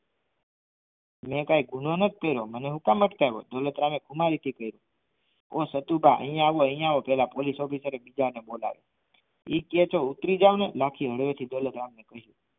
મેં કંઈ ગુનો નથી કર્યો મને શું કામ અટકાવ્યો દોલતરામ એ ઓ સતુભા અહીં આવો અહીં આવો પેલા ઓફિસરે એ બોલાવ્યા એ કાય છે ઉતરી જાવ ને લાખી હાડવે થી